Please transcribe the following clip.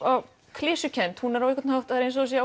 klisjukennd á einhvern hátt það er eins og það sé